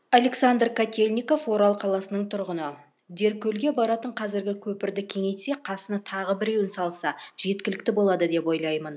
александр котельников орал қаласының тұрғыны деркөлге баратын қазіргі көпірді кеңейтсе қасына тағы біреуін салса жеткілікті болады деп ойлаймын